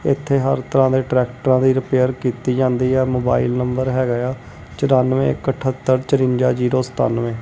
ਇੱਥੇ ਹਰ ਤਰ੍ਹਾਂ ਦੇ ਟਰੈਕਟਰਾਂ ਦੀ ਰਿਪੇਅਰ ਕੀਤੀ ਜਾਂਦੀ ਆ ਮੋਬਾਈਲ ਨੰਬਰ ਹੈਗਾ ਏ ਆ ਚਰਾਨਵੇ ਇੱਕ ਅਠਤਰ ਚੁਰੰਜਾ ਜ਼ੀਰੋ ਸਤਾਨਵੇ।